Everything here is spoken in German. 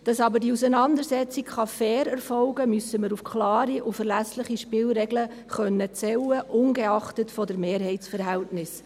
Damit die Auseinandersetzung fair erfolgen kann, müssen wir auf klare und verlässliche Spielregeln zählen können, ungeachtet der Mehrheitsverhältnisse.